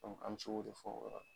An mi se k'o de fɔ o yɔrɔ la